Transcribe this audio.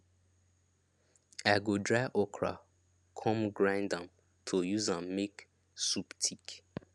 i go dry okra come grind am to use am make soup thick